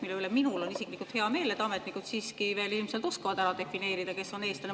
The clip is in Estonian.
Selle üle on minul isiklikult hea meel, et ametnikud siiski veel ilmselt oskavad ära defineerida, kes on eestlane.